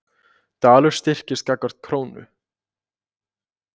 Dalur styrkist gagnvart krónu